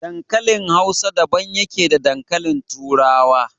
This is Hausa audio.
Dankalin Hausa daban yake da dankalin turawa.